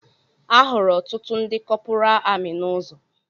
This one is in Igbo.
Ahụrụ ọtụtụ ndị kọpura amị n'ụzọ